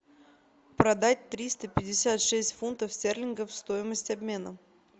продать триста пятьдесят шесть фунтов стерлингов стоимость обмена